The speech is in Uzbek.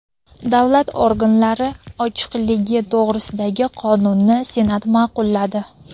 Davlat organlari ochiqligi to‘g‘risidagi qonunni Senat ma’qulladi.